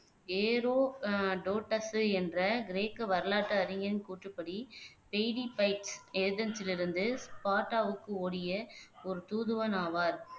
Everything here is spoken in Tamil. ஏரோ ஆஹ் டோட்ஸ் என்ற கிரேக்க வரலாற்று அறிஞரின் கூற்றுப்படி பெய்டிபைட்ஸ் இருந்து ஸ்பார்ட்டாவுக்கு ஓடிய ஒரு தூதுவன் ஆவார்